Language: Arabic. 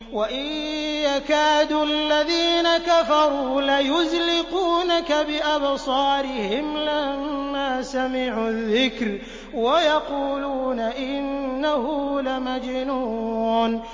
وَإِن يَكَادُ الَّذِينَ كَفَرُوا لَيُزْلِقُونَكَ بِأَبْصَارِهِمْ لَمَّا سَمِعُوا الذِّكْرَ وَيَقُولُونَ إِنَّهُ لَمَجْنُونٌ